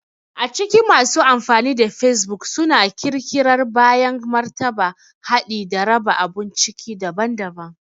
A cikin masu amfani da facebook suna ƙirƙirar bayanan martaba, haɗi, da raba abun ciki daban-daban.